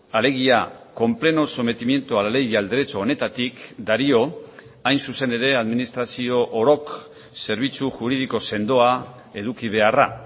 alegia con pleno sometimiento a la ley y al derecho honetatik dario hain zuzen ere administrazio orok zerbitzu juridiko sendoa eduki beharra